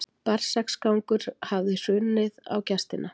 Berserksgangur hafði runnið á gestina.